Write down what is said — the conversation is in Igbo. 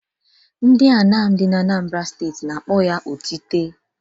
Ndị Anam dị n'Anambara steeti n'akpọ ya otite.